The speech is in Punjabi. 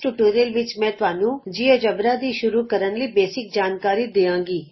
ਇਸ ਟਿਯੂਟੋਰਿਅਲ ਵਿਚ ਮੈਂ ਤੁਹਾਨੂੰ ਜਿਉਜੇਬਰਾ ਦੀ ਸ਼ੁਰੂ ਕਰਨ ਲਈ ਬੇਸਿਕ ਜਾਣਕਾਰੀ ਦਿਆਂਗੀ